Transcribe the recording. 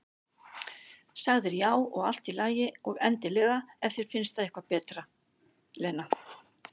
Sagðir já, og allt í lagi, og endilega, ef þér finnst það eitthvað betra, Lena.